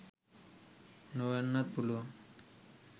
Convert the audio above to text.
නොවෙන්නත් පුළුවන්.